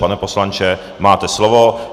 Pane poslanče, máte slovo.